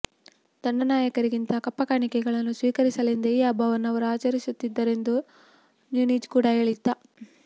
ದಂಡನಾಯಕರಿಂದ ಕಪ್ಪಕಾಣಿಕೆಗಳನ್ನು ಸ್ವೀಕರಿಸಲೆಂದೇ ಈ ಹಬ್ಬವನ್ನು ಅವರು ಆಚರಿಸುತ್ತಿದ್ದರೆಂದು ನೂನಿಜ್ ಕೂಡ ಕೇಳಿದ್ದ